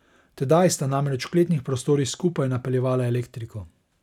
Tedaj sta namreč v kletnih prostorih skupaj napeljevala elektriko.